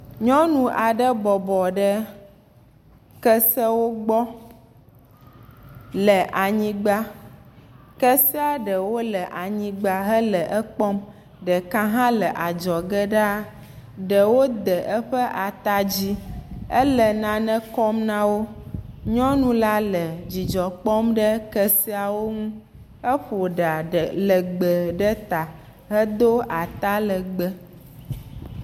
Nyɔnu aɖe bɔbɔ ɖe kesewo gbɔ le anyigba. Keseaɖewo le anyigba hele ekpɔm. Ɖeka hã le adzɔge ɖaa. Ɖewo de eƒe ata dzi ele nane kɔm na wo. Nyɔnu la le dzidzɔ kpɔm ɖe keseawo ŋu. Eƒo ɖa ɖe legbe ɖe ta hedo atalegbe.